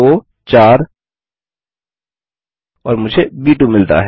24 और मुझे ब 2 मिलता है